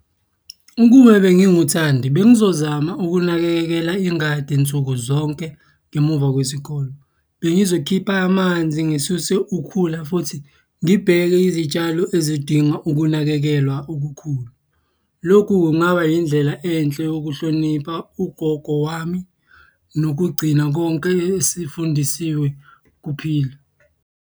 Ukube benginguThandi, bengizozama ukunakekela ingadi nsuku zonke ngemuva kwesikole. Bengizokhipha amanzi, ngisuse ukhula futhi ngibheke izitshalo ezidinga ukunakekelwa okukhulu. Lokhu kungaba yindlela enhle yokuhlonipha ugogo wami nokugcina konke esifundiswe kuphila.